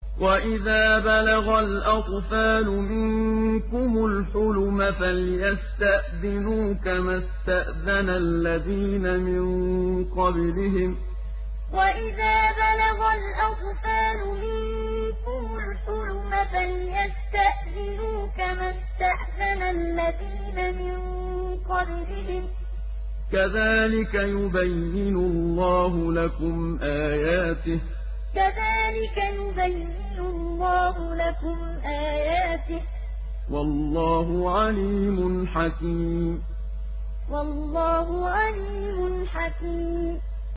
وَإِذَا بَلَغَ الْأَطْفَالُ مِنكُمُ الْحُلُمَ فَلْيَسْتَأْذِنُوا كَمَا اسْتَأْذَنَ الَّذِينَ مِن قَبْلِهِمْ ۚ كَذَٰلِكَ يُبَيِّنُ اللَّهُ لَكُمْ آيَاتِهِ ۗ وَاللَّهُ عَلِيمٌ حَكِيمٌ وَإِذَا بَلَغَ الْأَطْفَالُ مِنكُمُ الْحُلُمَ فَلْيَسْتَأْذِنُوا كَمَا اسْتَأْذَنَ الَّذِينَ مِن قَبْلِهِمْ ۚ كَذَٰلِكَ يُبَيِّنُ اللَّهُ لَكُمْ آيَاتِهِ ۗ وَاللَّهُ عَلِيمٌ حَكِيمٌ